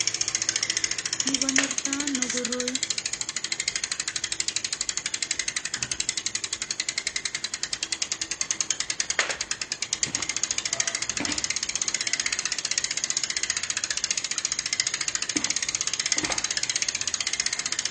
Kikonortoi ano koroi